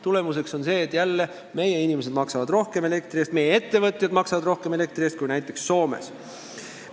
Tagajärg on see, et meie inimesed maksavad elektri eest rohkem ja meie ettevõtjad maksavad elektri eest rohkem kui näiteks Soomes.